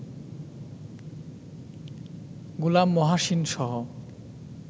গোলাম মহাসিনসহ